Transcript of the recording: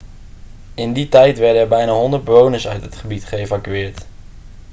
in die tijd werden er bijna 100 bewoners uit het gebied geëvacueerd